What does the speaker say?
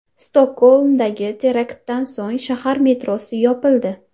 Stokgolmdagi teraktdan so‘ng shahar metrosi yopildi .